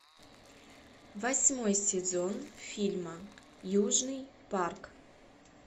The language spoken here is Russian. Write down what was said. восьмой сезон фильма южный парк